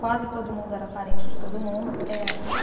Quase todo mundo era parente de todo mundo, é ainda.